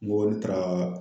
N go n taara